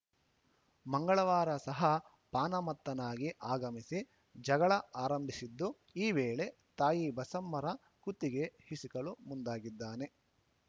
ಮಂಗಳವಾರ ಸಹ ಪಾನಮತ್ತನಾಗಿ ಆಗಮಿಸಿ ಜಗಳ ಆರಂಭಿಸಿದ್ದು ಈ ವೇಳೆ ತಾಯಿ ಬಸಮ್ಮರ ಕುತ್ತಿಗೆ ಹಿಸುಕಲು ಮುಂದಾಗಿದ್ದಾನೆ